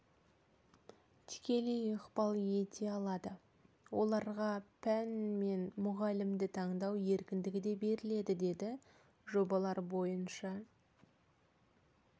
тікелей ықпал ете алады оларға пән мен мұғалімді таңдау еркіндігі де беріледі деді жобалар бойынша